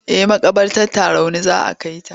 Eh maƙabartar Tarauni za a kai ta.